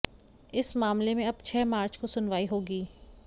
इस मामले में अब छह मार्च को सुनवाई होगी